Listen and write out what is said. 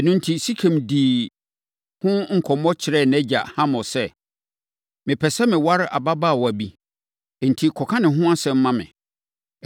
Ɛno enti, Sekem dii ho nkɔmmɔ kyerɛɛ nʼagya Hamor sɛ, “Mepɛ sɛ meware ababaawa yi, enti kɔka ne ho asɛm ma me!”